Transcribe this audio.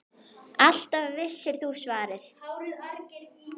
Alltaf vissir þú svarið.